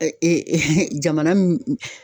jamana min